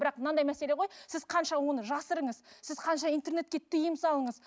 бірақ мынандай мәселе ғой сіз қанша оны жасырыңыз сіз канша интернетке тыйым салыңыз